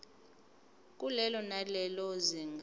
kulelo nalelo zinga